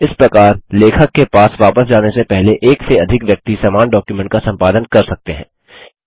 इस प्रकार लेखक के पास वापस जाने से पहले एक से अधिक व्यक्ति समान डॉक्युमेंट का संपादन कर सकते हैं